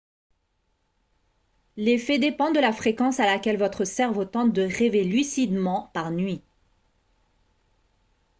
l'effet dépend de la fréquence à laquelle votre cerveau tente de rêver lucidement par nuit